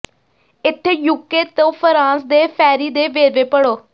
ਇੱਥੇ ਯੂਕੇ ਤੋਂ ਫਰਾਂਸ ਦੇ ਫੈਰੀ ਦੇ ਵੇਰਵੇ ਪੜ੍ਹੋ